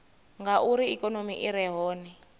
ngauri ikonomi i re hone